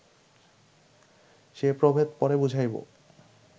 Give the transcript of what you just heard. সে প্রভেদ পরে বুঝাইব